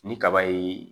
Ni kaba ye